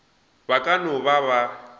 ba ka no ba ba